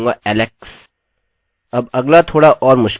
अब अगला थोड़ा और मुश्किल है